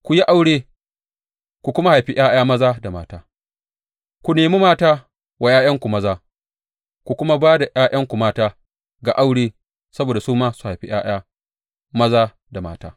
Ku yi aure ku kuma haifi ’ya’ya maza da mata; ku nemi mata wa ’ya’yanku maza, ku kuma ba da ’ya’yanku mata ga aure, saboda su ma za su haifi ’ya’ya maza da mata.